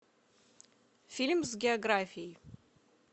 фильм с географией